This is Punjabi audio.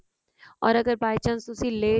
or ਅਗਰ by chance ਤੁਸੀਂ late